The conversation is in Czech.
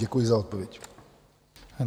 Děkuji za odpověď.